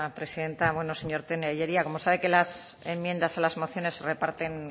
presidenta bueno señor tellería como sabe que las enmiendas a las mociones se reparten no